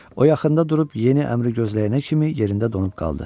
O yaxında durub yeni əmri gözləyənə kimi yerində donub qaldı.